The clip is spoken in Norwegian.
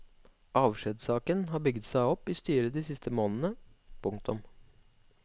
Avskjedssaken har bygget seg opp i styret de siste månedene. punktum